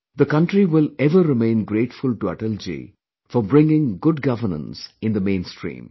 The country will ever remain grateful to Atalji for bringing good governance in the main stream